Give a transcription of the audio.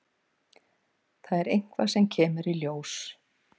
Það er eitthvað sem kemur í ljós.